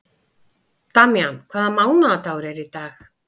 Damjan, hvaða mánaðardagur er í dag?